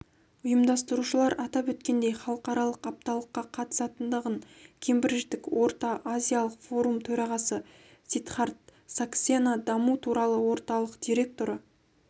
ұйымдастырушылар атап өткендей халықаралық апталыққа қатысатындығын кембридждік орта-азиялық форум төрағасы сидхарт саксена даму туралы орталық директоры